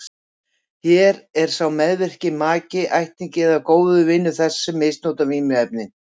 Hér er sá meðvirki maki, ættingi eða góður vinur þess sem misnotar vímuefnin.